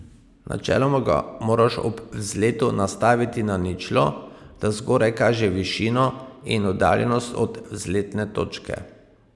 Načeloma ga moraš ob vzletu nastaviti na ničlo, da zgoraj kaže višino in oddaljenost od vzletne točke.